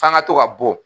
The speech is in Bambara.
F'an ga to ka bɔ